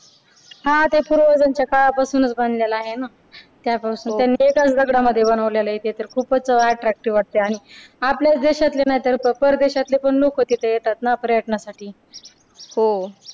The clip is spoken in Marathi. हा ते पूर्वजांच्या काळापासूनच बनलेलं आहे ना त्यापासून हो त्यांनी ते तर एकाच दगडामध्ये बनवलेलं आहे ते तर खूपच attractive वाटतंय आणि आपल्याच देशातले नाहीतर परदेशातले नको तिथं येतात ना पर्यटनासाठी हो